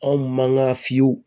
Anw mankan fiyew